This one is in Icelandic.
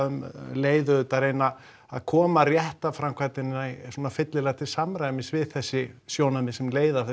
um leið auðvitað að reyna að koma réttarframkvæmdinni fyllilega til samræmis við þessi sjónarmið sem leiða af